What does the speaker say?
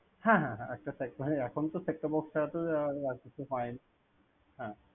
হ্যাঁ হ্যাঁ একটা সেক~ ভাই এখন তো Set-top box ছাড়া তো আর কিছু পায়ন~ হ্যাঁ।